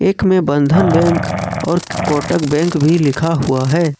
एक में बंधन बैंक और कोटक बैंक भी लिखा हुआ है।